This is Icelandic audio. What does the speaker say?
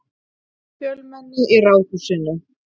Fjölmenni í Ráðhúsinu